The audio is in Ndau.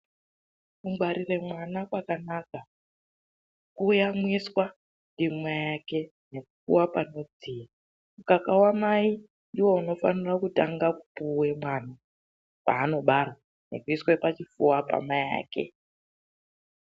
KUNGWARIRE MWANA KWAKANAKA, KUYAMWISWA NDIMAI AKE NEKUPUWA PANODZIYA. MUKAKA WAMAI NDOUNOFANA KUTANGA KUPUWE MWANA PAANOBARWA NEKUISWE PACHIPFUWA PAMAI AKE.